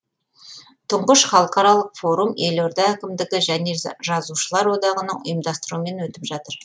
тұңғыш халықаралық форум елорда әкімдігі және жазушылар одағының ұйымдастыруымен өтіп жатыр